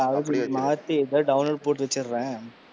மாத்தி இப்பவே download போட்டு வச்சரேன்.